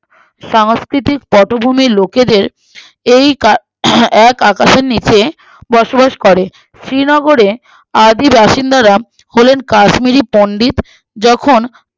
সাংস্কৃতিক পটভূমি লোকেদের এই কা আহ এক আকাশের নিচে বসবাস করে শ্রীনগরে আদিবাসীন্দারা হলেন কাশ্মীরি পন্ডিত যখুন